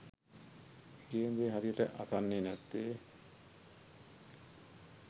කියන දේ හරියට අසන්නේ නැත්නේ?